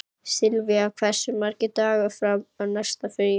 Silvía, hversu margir dagar fram að næsta fríi?